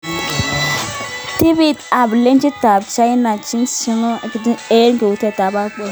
(ESPN) Timit ab ligit ab China Shanghai Shenhua kikiteshi eng kauitoet ab Bale.